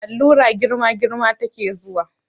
Allura girma girma ta ke zuwa